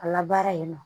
A labaara yen nɔ